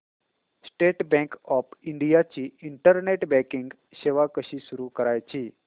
state Bank of India ची internet banking सेवा कशी सुरू करायची